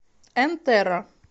энтерра